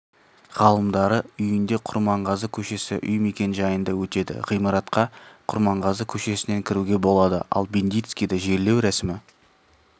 ғалымдары үйінде құрманғазы көшесі үй мекен-жайында өтеді ғимаратқа құрманғазы көшесінен кіруге болады ал бендицкийді жерлеу рәсімі